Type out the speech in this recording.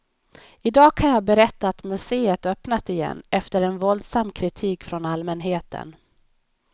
I dag kan jag berätta att museet öppnat igen efter en våldsam kritik från allmänheten.